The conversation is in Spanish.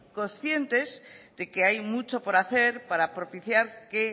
conscientes de que hay mucho por hacer para propiciar que